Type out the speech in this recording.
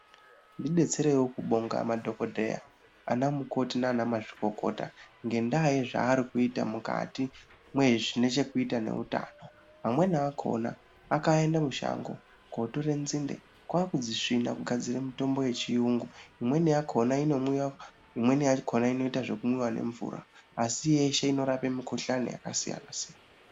Ndi detsereiwo kubonga madhokodheya ana mukoti nana mazvikokota ngenda yezva ari kuita mukati mwe zvine cheku ita nezve utano amweni akona aka ende mushango kotere nzinde kwakudzi svina kugadzire mitombo ye chiyungu imweni yakona ino mwiwa imweni yakona inoita zveku mwiwa ne mvura asi yeshe inorape mikuhlani yaka siyana siyana.